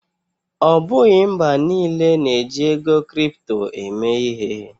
Ọ bụghị mba niile na-eji ego kripto eme ihe.